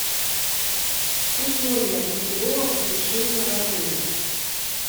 условия гостевого посещения в отеле